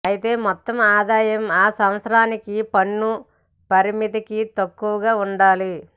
అయితే మొత్తం ఆదాయం ఆ సంవత్సరానికి పన్ను పరిమితికి తక్కువగా ఉండాలి